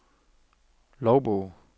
logbog